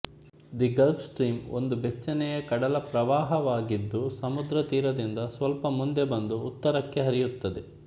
the Gulf Stream ಒಂದು ಬೆಚ್ಚನೆಯ ಕಡಲ ಪ್ರವಾಹವಾಗಿದ್ದು ಸಮುದ್ರ ತೀರದಿಂದ ಸ್ವಲ್ಪ ಮುಂದೆ ಬಂದು ಉತ್ತರಕ್ಕೆ ಹರಿಯುತ್ತದೆ